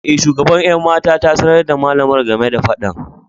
E, shugaban 'yan mata ta sanar da malamar game da fadan.